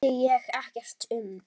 Það vissi ég ekkert um.